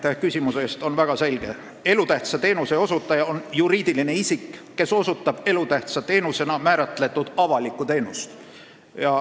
Seadusest tulenev definitsioon on väga selge: elutähtsa teenuse osutaja on juriidiline isik, kes osutab elutähtsa teenusena määratletud avalikku teenust.